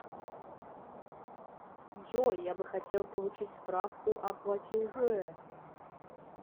джой я бы хотел получить справку о платеже